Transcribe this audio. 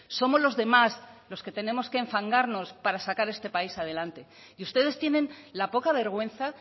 somos los demás los que tenemos que enfangarnos para sacar este país adelante y ustedes tienen la poca vergüenza